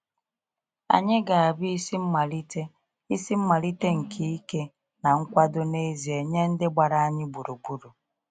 Anyị ga-abụ isi mmalite isi mmalite nke ike na nkwado n’ezie nye ndị gbara anyị gburugburu.